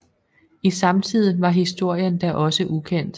I samtiden var historien da også ukendt